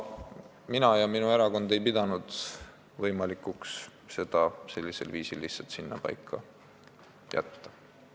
Mina ja minu erakond ei pidanud võimalikuks seda lihtsalt sinnapaika jätta.